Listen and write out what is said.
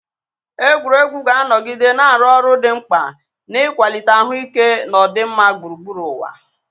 Egwuregwu ga-anọgide na-arụ ọrụ dị mkpa n'ịkwalite ahụike na ọdịmma gburugburu ụwa.